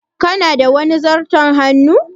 Kana da wani zarton hannun?